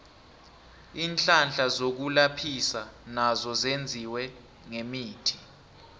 iinhlahla zokulaphisa nazo zenziwe ngemithi